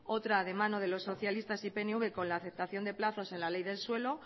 otra de mano de los socialistas y pnv con la aceptación de plazos en la ley del suelo